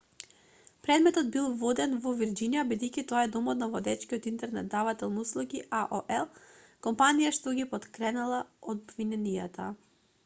предметот бил воден во вирџинија бидејќи тоа е домот на водечкиот интернет давател на услуги аол компанијата што ги поткренала обвиненијата